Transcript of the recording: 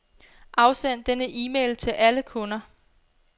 Afsend denne e-mail til alle kunder.